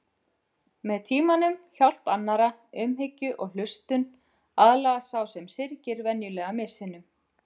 Með tímanum, hjálp annarra, umhyggju og hlustun aðlagast sá sem syrgir venjulega missinum.